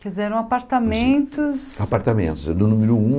Quer dizer, eram apartamentos... Apartamentos, eh do número um